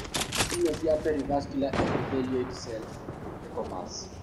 Tiuma cia Perivascular epithelioid cells(PEComas)